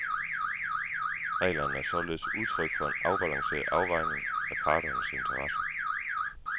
Reglerne er således udtryk for en afbalanceret afvejning af parternes interesser.